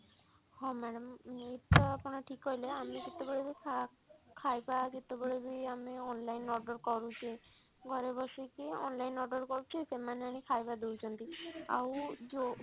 ହଁ madam ଇଏ ତ ଆପଣ ଠିକ କହିଲେ ଆମେ ଯେତେବେଳେ ବି ଖାଇବା ଯେତେବେଳେ ବି ଆମେ online order କରୁଛେ ଘରେ ବସିକି online order କରୁଛେ ସେମାନେ ଆଣିକି ଖାଇବା ଦଉଛନ୍ତି ଆଉ ଯଉ